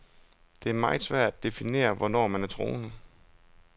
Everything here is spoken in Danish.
Det er meget svært at definere, hvornår man er troende.